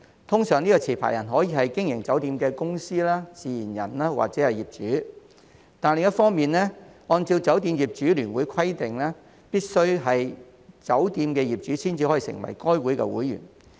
持牌人通常可以是經營酒店的公司、自然人或者業主，但另一方面，按照酒店業主聯會規定，必須是酒店業主才能成為該會會員。